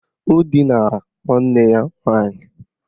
Ọ dinara nwanne ya nwaanyị?